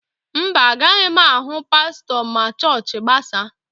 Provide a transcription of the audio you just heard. Mba, agaghị m ahụ pastọ ma chọọchị gbasaa.